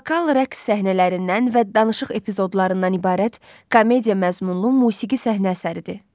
Vokal rəqs səhnələrindən və danışıq epizodlarından ibarət komediya məzmunlu musiqi səhnə əsəridir.